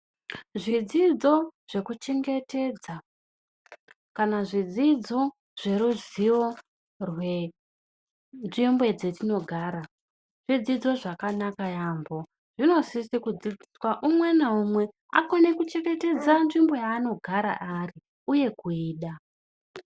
Zvidzidzo zvekuchengetedza kana zvidzidzo zveruzivo rwenzvimbo dzetinogara. Zvidzidzo zvakanaka yaamho. Zvinosise kudzidzisa umwe naumwe kuti akone kuchengetedza nzvimbo yaanogara ari uye kuida.